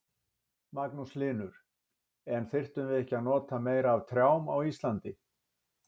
Magnús Hlynur: En þyrftum við ekki að nota meira af trjám á Íslandi?